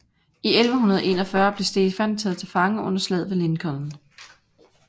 I 1141 blev Stefan taget til fange under slaget ved Lincoln